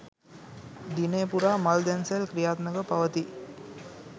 දිනය පුරා මල් දන්සැල් ක්‍රියාත්මකව පවතී